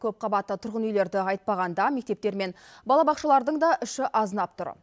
көпқабатты тұрғын үйлерді айтпағанда мектептер мен балабақшалардың да іші азынап тұр